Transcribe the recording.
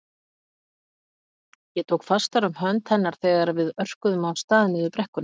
Ég tók fastar um hönd hennar þegar við örkuðum af stað niður brekkuna.